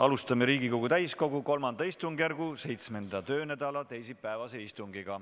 Alustame Riigikogu täiskogu III istungjärgu 7. töönädala teisipäevast istungit.